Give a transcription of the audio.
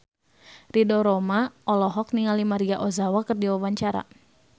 Ridho Roma olohok ningali Maria Ozawa keur diwawancara